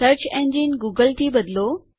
search engine Google થી બદલો